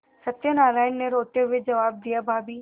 सत्यनाराण ने रोते हुए जवाब दियाभाभी